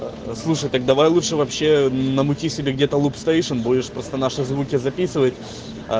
слушай так давай лучше вообще намути себе где-то лупстейшн будешь просто наши звуки записывать э